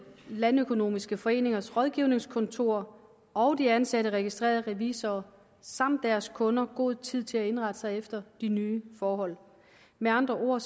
landøkonomiske foreningers rådgivningskontorer og de ansatte registrerede revisorer samt deres kunder god tid til at indrette sig efter de nye forhold med andre ord